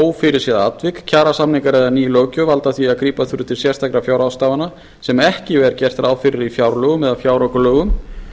ófyrirséð atvik kjarasamningar eða ný löggjöf valda því að grípa þurfi til sérstakra fjárráðstafana sem ekki var gert ráð fyrir í fjárlögum eða fjáraukalögum